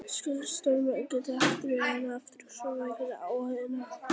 Segulstormar geta haft margvísleg áhrif á fjarskipti, rafveitukerfi og gervitungl.